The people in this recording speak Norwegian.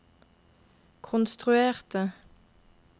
konstruerte